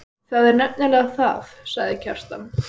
Það er nefnilega það, sagði Kjartan.